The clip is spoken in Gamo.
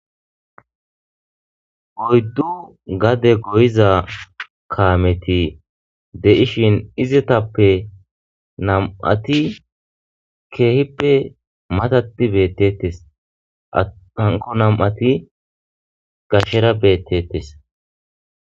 oyddu gade goyiza kaameti de7ishin izetappe nam7ati keehippe matati beettettes aanko nam7ati gashera beettetes